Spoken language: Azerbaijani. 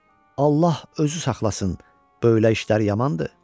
Allah özü saxlasın, belə işlər yamandır.